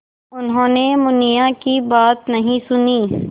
उन्होंने मुनिया की बात नहीं सुनी